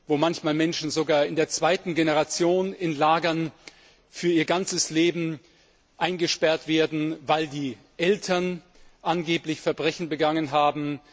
Wo manchmal Menschen sogar in der zweiten Generation für ihr ganzes Leben in Lagern eingesperrt werden, weil die Eltern angeblich Verbrechen begangen haben.